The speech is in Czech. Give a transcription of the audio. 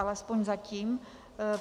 Alespoň zatím.